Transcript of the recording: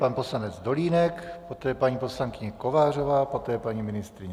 Pan poslanec Dolínek, poté paní poslankyně Kovářová, poté paní ministryně.